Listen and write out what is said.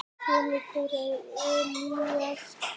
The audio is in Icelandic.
Sonur þeirra er Elías Ari.